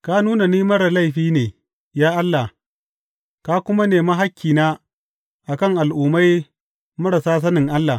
Ka nuna ni marar laifi ne, ya Allah, ka kuma nemi hakkina a kan al’ummai marasa sanin Allah.